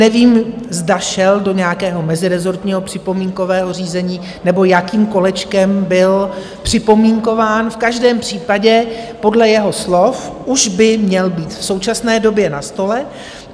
Nevím, zda šel do nějakého mezirezortního připomínkového řízení, nebo jakým kolečkem byl připomínkován, v každém případě podle jeho slov už by měl být v současné době na stole.